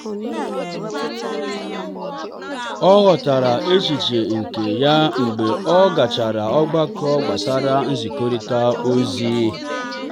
ọ ghọtara echiche nke ya mgbe ọ gachara ogbako gbasara nzikọrịta ozi.